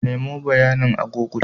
Nemo bayanin a google.